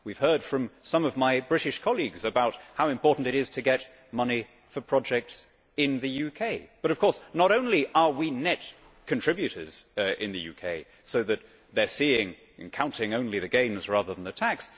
We have heard from some of my British colleagues about how important it is to get money for projects in the UK. But of course, not only are we net contributors in the UK, so that they are seeing and counting only the gains rather than the tax